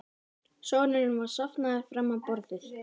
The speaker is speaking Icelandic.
Sonurinn var sofnaður fram á borðið.